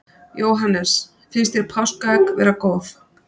Jóhannes: Finnst þér páskaegg vera góð?